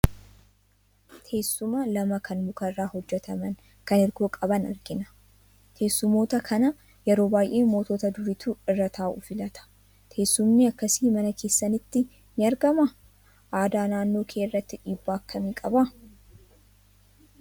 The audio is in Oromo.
Teessuma lama kan muka irraa hojjetaman, kan hirkoo qaban argina. Teessumoota kana yeroo baay'ee mootota duriitu irra taa'uu filata. Teessumni akkasii mana keessanitti ni argamaa? Aadaa naannoo kee irratti dhiibbaa akkamii qaba?